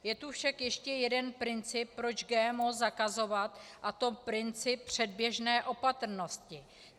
Je tu však ještě jeden princip, proč GMO zakazovat, a to princip předběžné opatrnosti.